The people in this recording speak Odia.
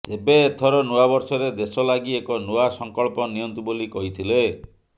ତେବେ ଏଥର ନୂଆବର୍ଷରେ ଦେଶଲାଗି ଏକ ନୂଆ ସଂକଳ୍ପ ନିଅନ୍ତୁ ବୋଲି କହିଥିଲେ